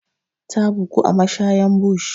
Ta bugu a mashayan bush.